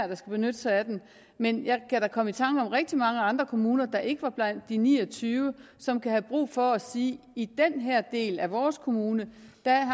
der skal benytte sig af det men jeg kan da komme i tanker om rigtig mange andre kommuner der ikke var blandt de ni og tyve som kan have brug for at sige i den her del af vores kommune